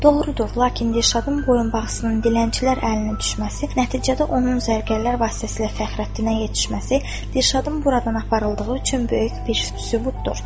Doğrudur, lakin Dürşadın boyunbağısının dilənçilər əlinə düşməsi, nəticədə onun zərgərlər vasitəsilə Fəxrəddinə yetişməsi, Dürşadın buradan aparıldığı üçün böyük bir sübutdur.